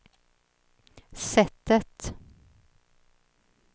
sättet